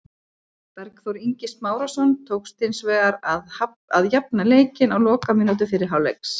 Bergþór Ingi Smárason tókst hins vegar að jafna leikinn á lokamínútu fyrri hálfleiks.